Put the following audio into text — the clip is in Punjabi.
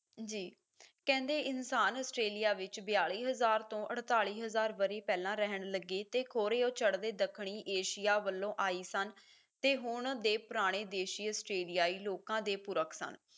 ਜੀ ਕਹਿੰਦੇ ਇਨਸਾਨ ਆਸਟ੍ਰੇਲੀਆ ਵਿੱਚ ਬਿਆਲੀ ਹਜ਼ਾਰ ਤੋਂ ਅੜਤਾਲੀ ਹਜ਼ਾਰ ਵਰ੍ਹੇ ਪਹਿਲਾ ਰਹਿਣ ਲੱਗੇ ਤੇ ਖੋਰੇ ਉਹ ਚੜਦੇ ਦੱਖਣੀ ਏਸ਼ੀਆ ਵੱਲੋਂ ਆਏ ਸਨ ਤੇ ਹੁਣ ਦੇ ਪੁਰਾਣੇ ਦੇਸ਼ੀਅਸ ਆਸਟ੍ਰੇਲੀਆਈ ਲੋਕਾਂ ਦੇ ਪੁਰਖ ਨਾਲ